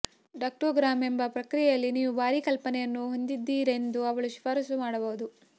ductogram ಎಂಬ ಪ್ರಕ್ರಿಯೆಯಲ್ಲಿ ನೀವು ಭಾರೀ ಕಲ್ಪನೆಯನ್ನು ಹೊಂದಿದ್ದೀರೆಂದು ಅವಳು ಶಿಫಾರಸು ಮಾಡಬಹುದು